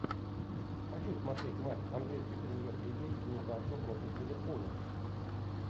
хочу смотреть матч английской премьер лиги ньюкасл против ливерпуля